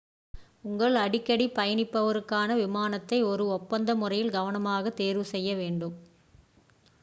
உங்கள் அடிக்கடி பயணிப்பவருக்கான விமானத்தை ஒரு ஒப்பந்த முறையில் கவனமாக தேர்வு செய்ய வேண்டும்